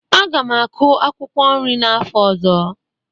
Aga m akụ akwụkwọ nri n'afọ ọzọ.